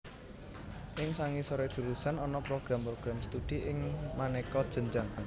Ing sangisoré jurusan ana program program studi ing manéka jenjang